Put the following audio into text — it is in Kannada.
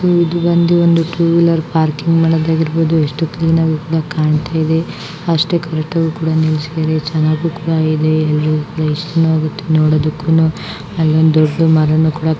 ಸೋ ಇದು ಬಂದು ಒಂದು ಟೂ ವೀಲರ್ ಪಾರ್ಕಿಂಗ್ ವಳಗ್ ಇರಬಹುದು. ಎಷ್ಟು ಕ್ಲೀನ್ ಆಗ್ ಇದನ್ನ ಕಾಂತೇವೆ. ಅಷ್ಟೇ ಕರೆಕ್ಟ್ ಆಗ್ ಕೂಡಾ ನಿಲ್ಲಿಸಿದ್ದಾರೆ. ಚೆನ್ನಾಗು ಕೂಡ ಇದೆ ಎಲ್ಲರಿಗೂ ಕೂಡ ಇಷ್ಟಾನು ಆಗುತ್ತೆ ನೋಡೋದುಕ್ಕುನು ಅಲ್ಲೊಂದು ದೊಡ್ಡದು ಮಾರನು ಕೂಡ --